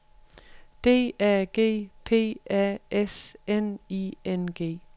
D A G P A S N I N G